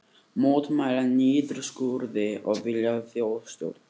Mótmæla niðurskurði og vilja þjóðstjórn